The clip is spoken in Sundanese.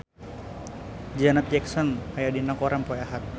Janet Jackson aya dina koran poe Ahad